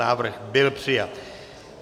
Návrh byl přijat.